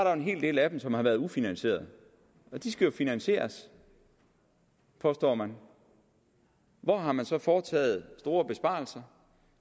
er en hel del af dem som har været ufinansierede og de skal jo finansieres påstår man hvor har man så foretaget store besparelser